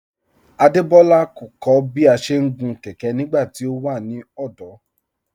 Adebọla kọ̀ kọ̀ bí à ṣé ń gun kẹkẹ̀ nígbàtí ọ wà ní ọdọ́